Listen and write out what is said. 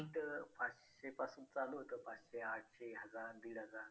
Ticket पाचशेपासून चालू होतं ते आठशे हजार दीड हजार